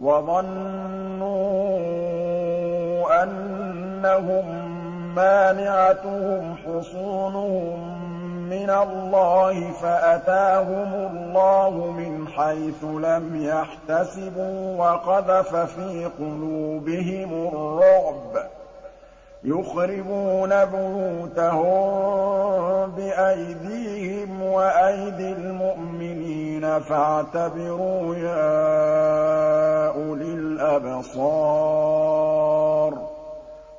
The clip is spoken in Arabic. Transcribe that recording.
وَظَنُّوا أَنَّهُم مَّانِعَتُهُمْ حُصُونُهُم مِّنَ اللَّهِ فَأَتَاهُمُ اللَّهُ مِنْ حَيْثُ لَمْ يَحْتَسِبُوا ۖ وَقَذَفَ فِي قُلُوبِهِمُ الرُّعْبَ ۚ يُخْرِبُونَ بُيُوتَهُم بِأَيْدِيهِمْ وَأَيْدِي الْمُؤْمِنِينَ فَاعْتَبِرُوا يَا أُولِي الْأَبْصَارِ